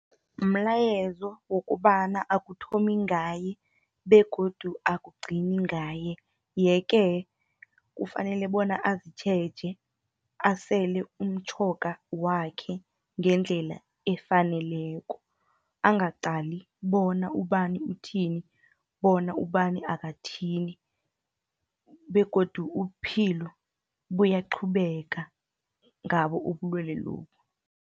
Mlayezo wokobana akuthomi ngaye, begodu akugcini ngaye. Ye-ke, kufanele bona azitjheje asele umtjhoga wakhe. ngendlela efaneleko, angaqali bona ubani uthini, bona ubani akathini, begodu uphilo buyaqhubeka ngabo ubulwele lobu.